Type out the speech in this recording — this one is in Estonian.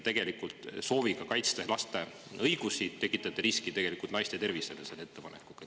Sooviga kaitsta laste õigusi te selle ettepanekuga tekitate riski naiste tervisele.